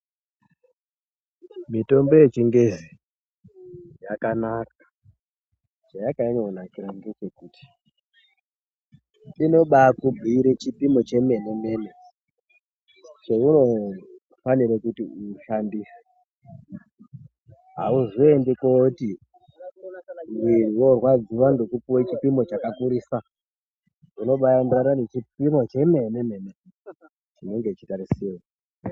Mitombo yechingezi yakanaka. Zvayakanyanya kunakira ngezvekuti inobakubhiira chipimo chemene chounofanire kuti ushandise. Auzoendi kooti ndinorwadziwa ngekupiwa chipimo chakakurisa, unobaenderana nechipimo chemene chinenge chichitarisirwa.